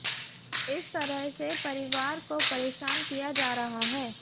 इस तरह से परिवार को परेशान किया जा रहा है